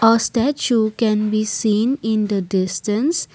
a statue can be seen in the distance.